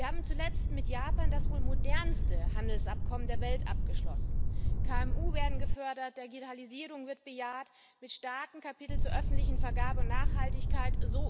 Wir haben zuletzt mit Japan das wohl modernste Handelsabkommen der Welt abgeschlossen. KMU werden gefördert, Digitalisierung wird bejaht, mit starken Kapiteln zur öffentlichen Vergabe und Nachhaltigkeit.